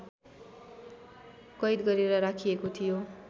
कैद गरेर राखिएको थियो।